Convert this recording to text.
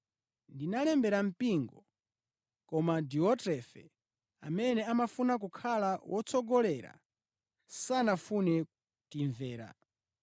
Ndinalembera mpingo, koma Diotrefe, amene amafuna kukhala wotsogolera, sanafune kutimvera.